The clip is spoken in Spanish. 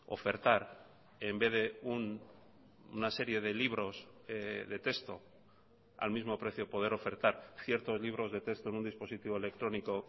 ofertar en vez de una serie de libros de texto al mismo precio poder ofertar cierto libros de texto en un dispositivo electrónico